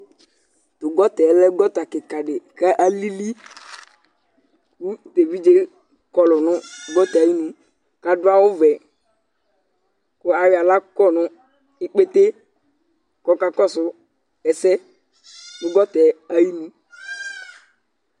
Tʋ gɔta yɛ lɛ gɔta kɩka dɩ kʋ alili kʋ tʋ evidze yɛ kɔlʋ nʋ gɔta yɛ ayinu kʋ adʋ awʋvɛ kʋ ayɔ aɣla kɔ nʋ ikpete kʋ ɔkakɔsʋ ɛsɛ nʋ gɔta yɛ ayinu